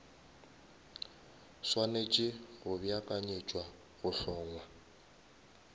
swanetše go beakanyetša go hlongwa